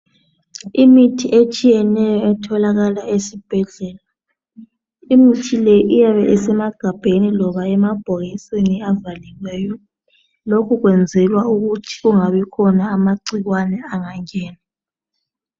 Imithi etshiyeneyo etholakala esibhedlela. Imithi le iyabe isemagabheni loba emabhokisini avaliweyo. Lokhu kwenzelwa ukuthi kungabikhona amagcikwane angangena.